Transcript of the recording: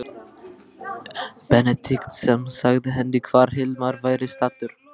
Benedikt sem sagði henni hvar Hilmar væri staddur.